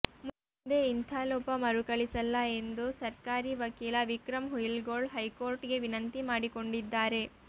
ಮುಂದೆ ಇಂಥ ಲೋಪ ಮರುಕಳಿಸಲ್ಲ ಎಂದು ಸರ್ಕಾರಿ ವಕೀಲ ವಿಕ್ರಮ್ ಹುಯಿಲ್ಗೋಳ್ ಹೈಕೋರ್ಟ್ ಗೆ ವಿನಂತಿ ಮಾಡಿಕೊಂಡಿದ್ದಾರೆ